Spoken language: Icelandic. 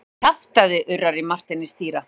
Kjaftæði urrar í Marteini stýra.